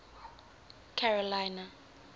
carolina